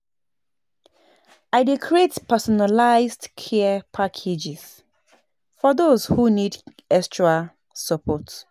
I dey create personalized care packages for those who need extra support.